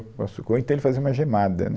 Ou então ele fazia uma gemada, né?